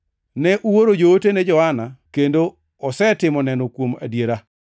“Ne uoro joote ne Johana kendo osetimo neno kuom adiera.